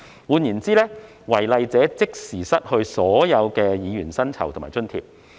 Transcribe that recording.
換言之，違例者即時失去所有議員薪酬及津貼。